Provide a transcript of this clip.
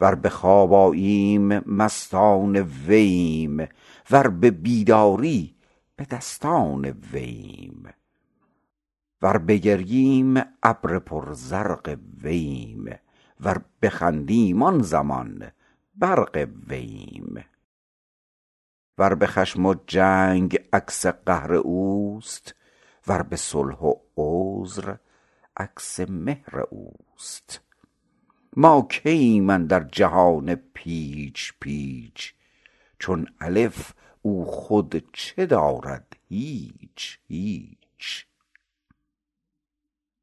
ور به خواب آییم مستان وییم ور به بیداری به دستان وییم ور بگرییم ابر پر زرق وییم ور بخندیم آن زمان برق وییم ور به خشم و جنگ عکس قهر اوست ور به صلح و عذر عکس مهر اوست ما کییم اندر جهان پیچ پیچ چون الف او خود چه دارد هیچ هیچ